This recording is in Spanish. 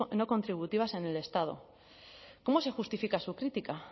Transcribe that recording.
no contributivas en el estado cómo se justifica su crítica